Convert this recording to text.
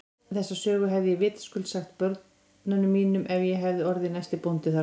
Þessa sögu hefði ég vitaskuld sagt mínum börnum ef ég hefði orðið næsti bóndi þarna.